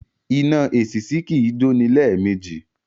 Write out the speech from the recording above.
Iná èṣìṣì kì í jó ní lẹ́ẹ̀mejì